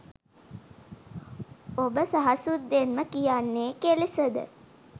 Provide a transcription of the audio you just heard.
ඔබ සහසුද්දෙන්ම කියන්නෙ කෙලෙසද?